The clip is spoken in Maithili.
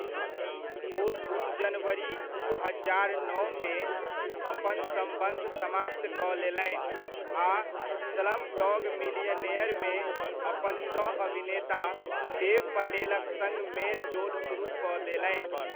ओ जनवरी दू हजार नओमे, अपन सम्बन्ध समाप्त कऽ लेलनि आ स्लमडॉग मिलियनेयरमे अपन सह अभिनेता देव पटेलक सङ्ग मेल जोल सुरुह कऽ देलनि।